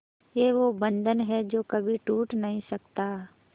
ये वो बंधन है जो कभी टूट नही सकता